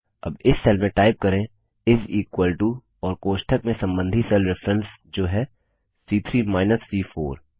अब इस सेल में टाइप करें और कोष्ठक में सम्बन्धी सेल रेफरेंस जो है सी3 माइनस सी4